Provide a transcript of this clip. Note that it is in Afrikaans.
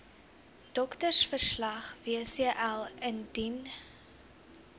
doktersverslag wcl indien